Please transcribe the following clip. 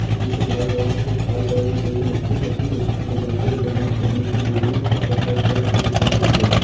पीछे लाल कलर से लाल कलर की मशीन रखी है कुछ दो बाइक दिख रहे है और पीछे बोरियों में कुछ रखा हुआ है और पीछे दुकान भी दिख रहे है।